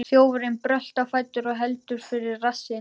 Þjófurinn bröltir á fætur og heldur fyrir rassinn.